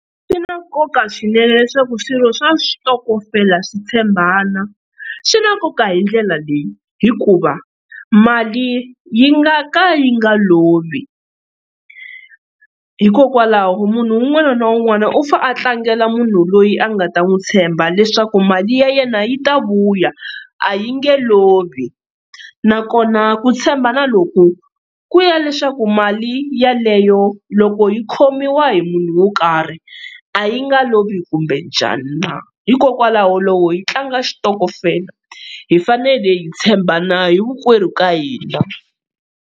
Swi na nkoka swinene leswaku swirho swa switokofela swi tshembana swi na nkoka hi ndlela leyi, hikuva mali yi nga ka yi nga lovi hikokwalaho munhu un'wana na un'wana u fanele a tlangela munhu loyi a nga ta n'wi tshemba leswaku mali ya yena yi ta vuya a yi nge lovi nakona ku tshembana loku ku ya leswaku mali yeleyo loko yi khomiwa hi munhu wo karhi a yi nga lovi kumbe njani na, hikokwalaho loko hi tlanga xitokofela hi fanele hi tshembana hinkwerhu ka hina.